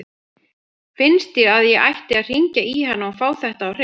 Finnst þér að ég ætti að hringja í hana og fá þetta á hreint?